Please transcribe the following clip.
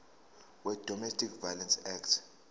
wedomestic violence act